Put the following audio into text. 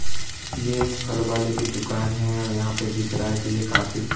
ये एक फल वाले की दुकान है और यहां पे दिख रहा है कि ये काफी--